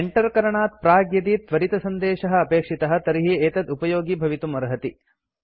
Enter करणात् प्राक् यदि त्वरितसन्देशः अपेक्षितः तर्हि एतत् उपयोगि भवितुम् अर्हति